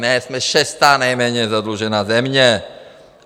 Ne, jsme šestá nejméně zadlužená země.